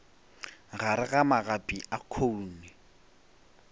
gare ga magapi a khoune